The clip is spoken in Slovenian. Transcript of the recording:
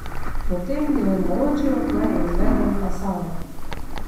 Potem mi je naročil, naj izvedem asano.